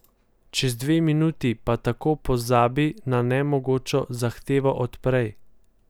Čez dve minuti pa tako pozabi na nemogočo zahtevo od prej.